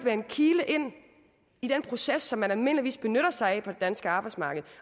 en kile ind i den proces som man almindeligvis benytter sig af på det danske arbejdsmarked